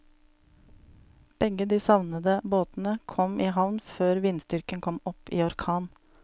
Begge de savnede båtene kom i havn før vindstyrken kom opp i orkan.